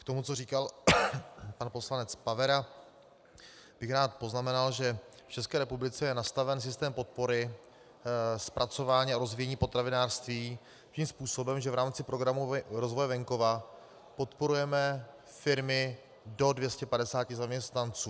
K tomu, co říkal pan poslanec Pavera, bych rád poznamenal, že v České republice je nastaven systém podpory zpracování a rozvíjení potravinářství tím způsobem, že v rámci Programu rozvoje venkova podporujeme firmy do 250 zaměstnanců.